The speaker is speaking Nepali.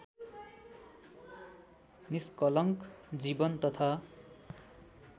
निष्कलङ्क जीवन तथा